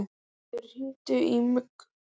Guðfríður, hringdu í Mugg.